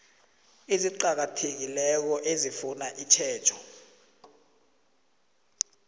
eziqakathekileko ezifuna itjhejo